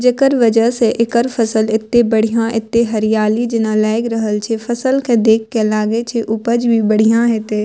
जेकर वजह से एकर फसल एते बढ़िया एते हरियाली जना लाग रहल छै फसल के देख के लागे छै उपज भी बढ़िया हेते।